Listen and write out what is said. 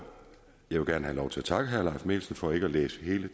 vil gerne have lov til at takke herre leif mikkelsen for ikke at læse hele